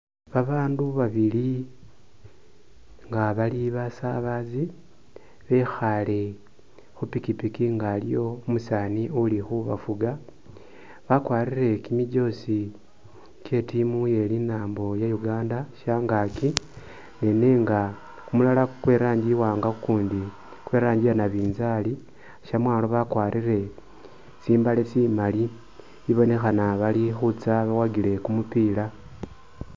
Babaandu babili nga bali basabazi bekhaale khu pikipiki nga aliwo umusaani uli khubafuga. Bakwarire kimijozi kye i'team ye linaambo lya Uganda shangaaki ne nenga kumulala kwe i'rangi iwaanga kukundi kwe i'rangi ya nabinzaali, syamwaalo bakwarire tsimbaale tsimaali ibonekhana bali khutsa bawagile kumupiila.